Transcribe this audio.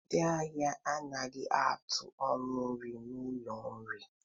Ndị ahịa anaghị atụ ọnụ nri n'ụlọ nri